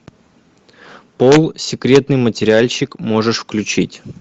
пол секретный материальчик можешь включить